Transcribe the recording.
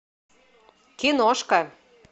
киношка